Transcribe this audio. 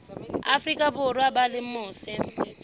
afrika borwa ba leng mose